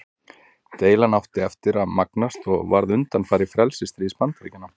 Deilan átti eftir að magnast og varð undanfari frelsisstríðs Bandaríkjanna.